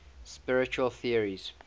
spiritual theories